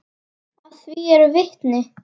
Að því eru vitni.